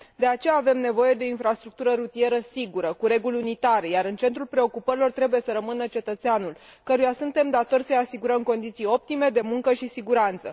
De aceea, avem nevoie de o infrastructură rutieră sigură, cu reguli unitare, iar în centrul preocupărilor trebuie să rămână cetățeanul, căruia suntem datori să i asigurăm condiții optime de muncă și siguranță.